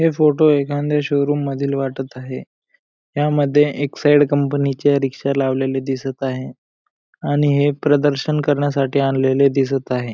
हे फोटो एखांद्या शोरूम मधील वाटतं आहे ह्या मध्ये एक्साईड कंपनी चे रिक्षा लावलेली दिसत आहे आणि हे प्रदर्शन करण्यासाठी आणलेले दिसत आहे.